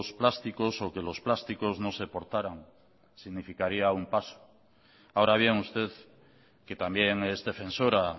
plásticos o que los plásticos no se portaran significaría un paso ahora bien usted que también es defensora